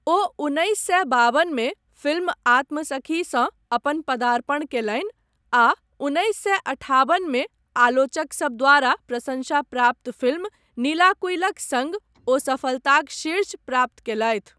ओ उन्नैस सए बाबन मे फिल्म आत्मसखीसँ अपन पदार्पण कयलनि आ उन्नैस सए अठाबन मे आलोचकसब द्वारा प्रसंशा प्राप्त फिल्म नीलाकुयिलक सङ्ग ओ सफलताक शीर्ष प्राप्त कयलथि।